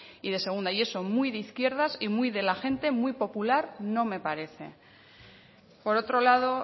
y de segunda y eso muy de izquierdas y muy de la gente muy popular no me parece por otro lado